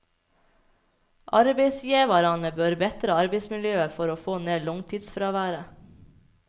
Arbeidsgjevarane bør betra arbeidsmiljøet for å få ned langtidsfråværet.